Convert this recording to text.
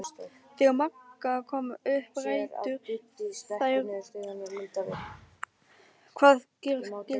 Þegar Magga kom upp ræddu þær hvað gera skyldi.